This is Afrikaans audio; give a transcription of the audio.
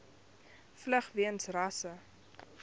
vlug weens rasse